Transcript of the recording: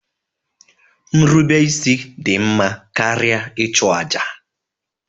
Nrubeisi dị mma karịa ịchụ àjà